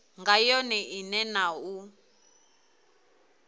nga yone ine na u